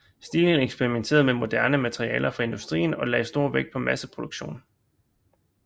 Stilen eksperimenterede med moderne materialer fra industrien og lagde stor vægt på masseproduktion